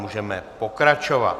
Můžeme pokračovat.